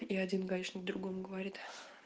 и один гаишник другому говорит